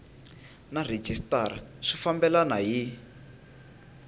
na rhejisitara swi fambelena hi